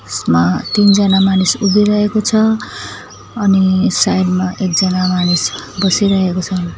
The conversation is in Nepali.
यसमा तीनजना मानिस उभिरहेको छ अनि साइड मा एकजना मानिस बसिरहेको छन।